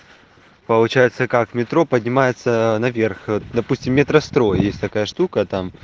получается как в метро поднимается наверх допустим метрострой есть такая штука там